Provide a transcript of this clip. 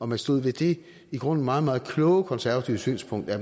man stod ved det i grunden meget meget kloge konservative synspunkt at